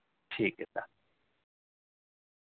ठीक आहे चालेल